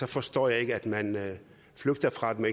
forstår jeg ikke at man flygter fra dem